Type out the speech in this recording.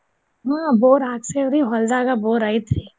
ಹ್ಮ್ bore ಹಾಕ್ಸೇವ್ ರೀ ಹೋಲ್ದಾಗ ಬೋರ್ ಐತ್ರಿ.